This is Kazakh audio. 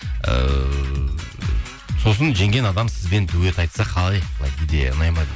ыыы сосын жеңген адам сізбен дуэт айтса қалай былай идея ұнайды ма дейді